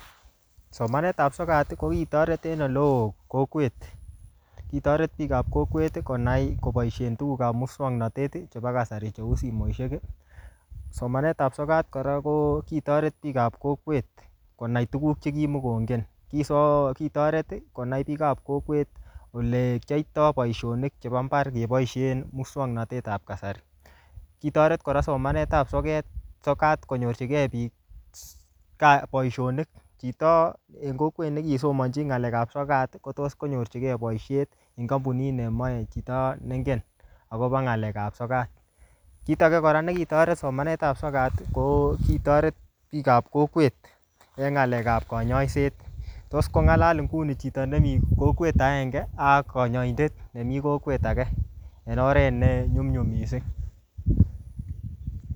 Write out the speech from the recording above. Somanetab sokat, ko kitoret en ole oo kokwet. Kitoret biikap kokwet konai koboisien tugukab muswagnatet chebo kasari cheu simoishek. Somanetap sokat kora, ko kitoret biikap kokwet konai tuguk che kimukongen. um Kitoret konai biikap kokwet konai tuguk che kimukongen. Kiso-kitoret konai biikap kokwet ole kiyoitoi boisonik chebo mbar, keboisien muswagnatetab kasari. Kitoret kora somanetp soket, sokat konyorchikei biik boisonik. Chito en kokwet ne kisomanchi ng'alekap sokat, kotos konyorchikei boisiet en kampunit nemache chito neingen akobo ng'alek ap sokat. Kit age kora ne kitoret somanetap ap sokat, ko kitoret biikap kokwet eng ng'alekap kanyaiset. Tos kong'alal nguni chito nemii kokwet agenge, ak kanyaindet nemii kokwet age, en oret en nyumnyum missing